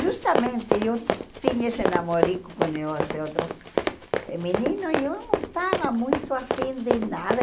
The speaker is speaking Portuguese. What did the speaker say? Justamente, eu tinha esse namorico com e o esse outro menino e eu não estava muito afim de nada.